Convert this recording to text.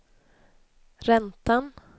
räntan